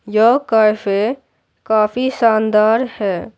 यह कैफे काफी शानदार है।